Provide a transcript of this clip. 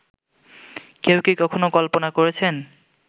কেউ কি কখনো কল্পনা করেছেন